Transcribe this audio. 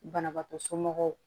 Banabaatɔ somɔgɔw